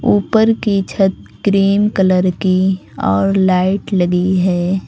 ऊपर की छत क्रीम कलर की और लाइट लगी है।